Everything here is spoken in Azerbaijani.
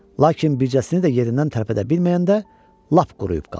Lakin bircəsini də yerindən tərpədə bilməyəndə lap quruyub qaldıq.